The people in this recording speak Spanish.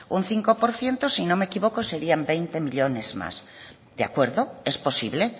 un cinco por ciento si no me equivoco serían veinte millónes más de acuerdo es posible